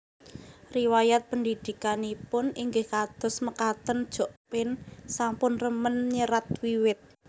Riwayat pendhidhikanipun inggih kados mekatenJokpin sampun remen nyerat wiwit